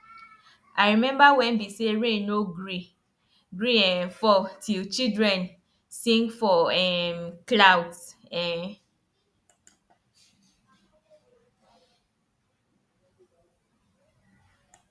i remember wen be say rain no gree gree um fall till children sing for um klout um